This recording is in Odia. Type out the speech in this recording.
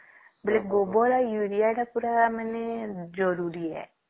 ବୋଲେ ଗୋବର ଆଉ ୟୁରିଆ ପୁରା ଜରୁରୀ ହେ